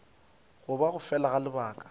goba go fela ga lebaka